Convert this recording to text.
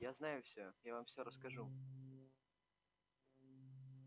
я знаю всё я вам всё расскажу